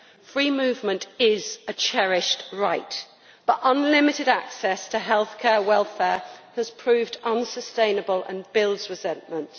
Free movement is a cherished right, but unlimited access to healthcare welfare has proved unsustainable and builds resentment.